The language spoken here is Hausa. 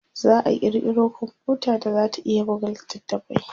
za'a kirkiro komfuta da zata iya buga littafai